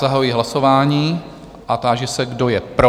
Zahajuji hlasování a táži se, kdo je pro?